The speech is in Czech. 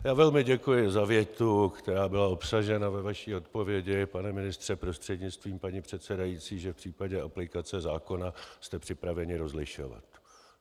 Já velmi děkuji za větu, která byla obsažena ve vaší odpovědi, pane ministře prostřednictvím paní předsedající, že v případě aplikace zákona jste připraveni rozlišovat.